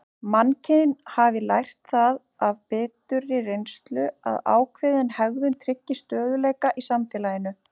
Mannkyn hafi lært það af biturri reynslu að ákveðin hegðun tryggi stöðugleika í samfélaginu.